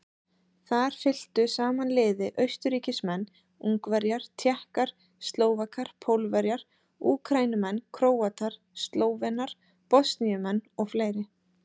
Þar fylktu saman liði Austurríkismenn, Ungverjar, Tékkar, Slóvakar, Pólverjar, Úkraínumenn, Króatar, Slóvenar, Bosníumenn og fleiri.